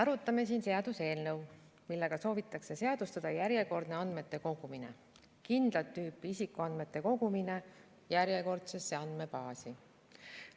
Arutame siin seaduseelnõu, millega soovitakse seadustada järjekordne andmete kogumine, kindlat tüüpi isikuandmete kogumine järjekordsesse andmebaasi.